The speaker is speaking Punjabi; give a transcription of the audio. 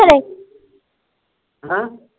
ਹੈ?